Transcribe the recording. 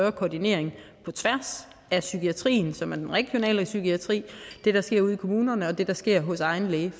af koordinering på tværs af psykiatrien som er den regionale psykiatri det der sker ude i kommunerne og det der sker hos egen læge